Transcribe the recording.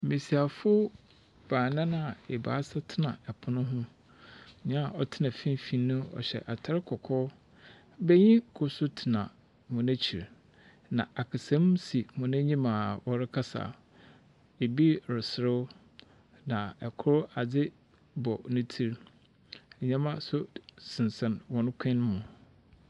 Mbasiafo baanan a ebiasa tsena apon ho. Nyia ɔtsena finimfin no, ɔhyɛ atar kɔkɔɔ. banyin kor so tsena n’ekyir, na akasamu si hɔn enyim a wɔrekasa, bi reserew, na kor, adze bɔ ne tsir. Ndzɛmba so sensɛn hɔn kɔnmu.